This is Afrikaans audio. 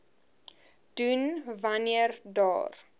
doen wanneer daar